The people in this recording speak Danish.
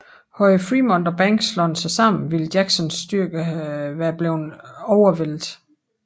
Havde Frémont og Banks slået sig sammen ville Jacksons styrker være blevet overvældet